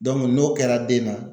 n'o kɛra den na